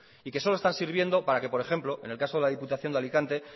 y que solo están sirviendo para que por ejemplo en el caso de la diputación de alicante